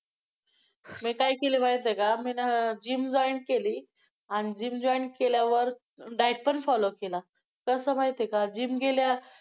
मी काय केलं माहितेय का? मी ना gym join केली आणि gym join केल्यावर diet पण follow केला तस माहिते का gym गेल्या,